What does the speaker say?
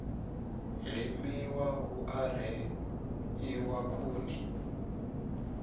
limiwa hu a reḓiwa khuni